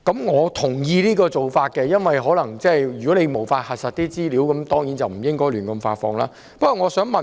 我同意這做法，如果無法核實資料，當然不應胡亂發放文件。